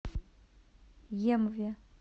емве